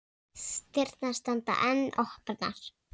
Þar með voru örlög ráðin.